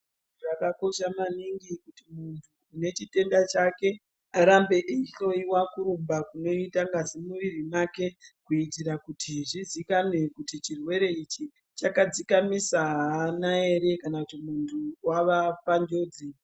Zvakakosha maningi kuti muntu une chitenda chake arambe eihloiwa kurumba kunoita ngazi mumwiri make. Kuitira kuti muntu une chetenda chake arambe eihoiwa kurumba kunoita ngazi muviri make. Kuitira kuti zvizikanwe kuti chirwere ichi chakadzikamisa hana ere kana kuti muntu vava panjodzi.